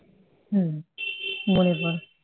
হ্যাঁ মনের